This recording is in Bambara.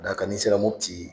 Ka d'a kan n'i sera Mɔputi